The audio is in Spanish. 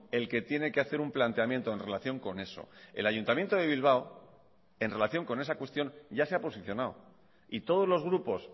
el que tiene que hacer un planteamiento en relación con eso el ayuntamiento de bilbao en relación con esa cuestión ya se ha posicionado y todos los grupos